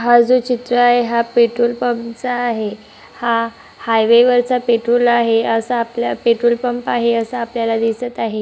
हा जे चित्र आहे तो पेट्रोल पंप चा आहे हा हायवे वरचा पेट्रोल आहे अस आपल्या पेट्रोलपंप आहे अस आपल्याला दिसत आहे.